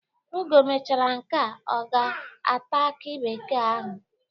Oge o mechara nke a, ọ ga-ata akị bekee ahụ.